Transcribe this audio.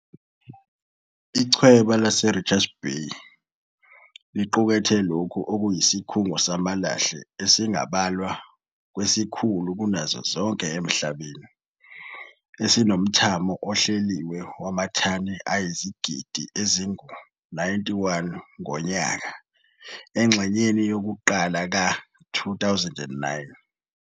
Ichweba laseRichards Bay liqukethe lokho okuyisikhungo samalahle esingabalwa kwesikhulu kunazo zonke emhlabeni, esinomthamo ohleliwe wamathani ayizigidi ezingu-91 ngonyaka engxenyeni yokuqala ka-2009.